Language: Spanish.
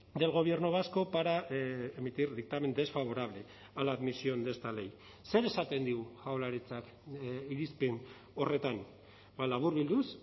del gobierno vasco para emitir dictamen desfavorable a la admisión de esta ley zer esaten digu jaurlaritzak irizpen horretan laburbilduz